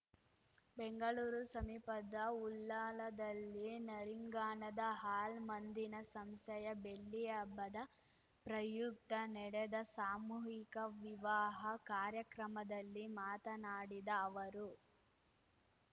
ಬೆಂಗಳೂರು ಸಮೀಪದ ಉಳ್ಳಾಲದಲ್ಲಿ ನರಿಂಗಾನದ ಹಾಲ್‌ ಮಂದೀನಾ ಸಂಸ್ಥೆಯ ಬೆಳ್ಳಿ ಹಬ್ಬದ ಪ್ರಯುಕ್ತ ನೆಡೆದ ಸಾಮೂಹಿಕ ವಿವಾಹ ಕಾರ್ಯಕ್ರಮದಲ್ಲಿ ಮಾತನಾಡಿದ ಅವರು